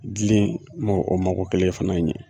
gile o mago kelen fana ye.